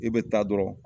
I bɛ taa dɔrɔn